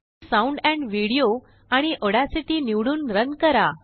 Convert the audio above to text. साउंडम्पविडियो आणिAudacity निवडूनरन करा